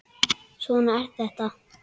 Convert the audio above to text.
Svona er þetta.